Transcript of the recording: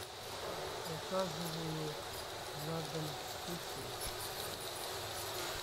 заказываю на дом суши